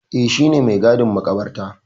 Eh, shi ne mai gadin maƙabarta.